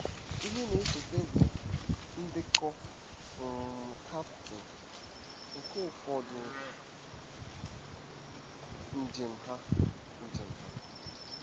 Ihe na-esote bụ " Ndekọ um Captain " nke ụfọdụ njem ha. njem ha.